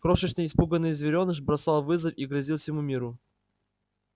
крошечный испуганный зверёныш бросал вызов и грозил всему миру